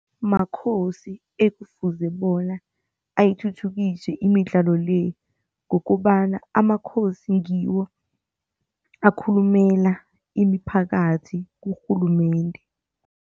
Makhosi ekufuze bona ayithuthukise imidlalo le ngokobana amakhosi ngiwo akhulumela imiphakathi kurhulumende.